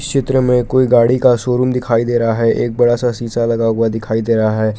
चित्र में कोई गाड़ी का शोरूम दिखाई दे रहा है एक बड़ा सा शीशा लगा हुआ दिखाई दे रहा है।